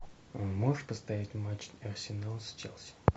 можешь поставить матч арсенала с челси